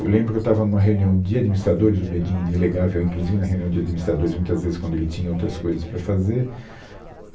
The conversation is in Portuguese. Eu lembro que eu estava em uma reunião de administradores, o Bedin delegava, eu ia inclusive na reunião de administradores, muitas vezes quando ele tinha outras coisas para fazer,